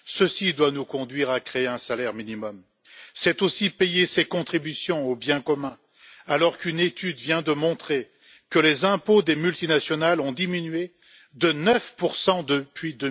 Ceci doit nous conduire à créer un salaire minimum. C'est aussi payer ses contributions au bien commun, alors qu'une étude vient de montrer que les impôts des multinationales ont diminué de 9 depuis